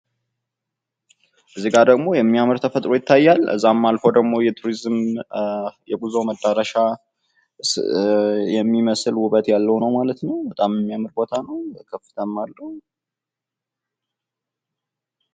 እዚጋ ደሞ የሚያምር ተፈጥሮ ይታያል ፤ ከዛም አልፎ ደሞ የቱሪዝም የጉዞ መዳረሻ የሚመስል ውበት ያለዉ ነው ማለት ነው ፤ በጣም የሚያምር ቦታ ነው ፤ ከፍታም አለው።